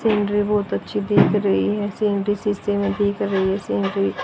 scenery बहुत अच्छी दिख रही है सीनरी शीशे में दिख रही है सीनरी --